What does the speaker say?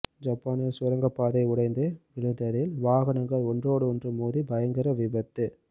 ஜப்பானில் சுரங்க பாதை உடைந்து வீழ்ந்ததில் வாகங்கள் ஒன்றோடொன்று மோதி பயங்கர விபத்து